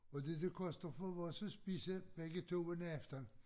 Og det det koster for os at spise begge to en aften